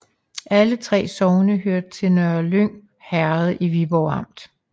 Alle 3 sogne hørte til Nørlyng Herred i Viborg Amt